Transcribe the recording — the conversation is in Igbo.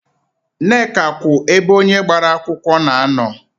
Nneka kwụ ebe onye agbara akwụkwọ na-anọ.